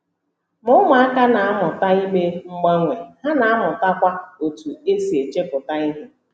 Ma ụmụaka na - amụta ime mgbanwe, ha na - amụtakwa otú e si echepụta ihe.